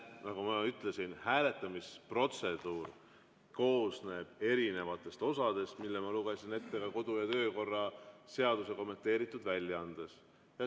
Nagu ma ütlesin, hääletamisprotseduur koosneb erinevatest osadest, mis ma lugesin ette ka kodu‑ ja töökorra seaduse kommenteeritud väljaandest.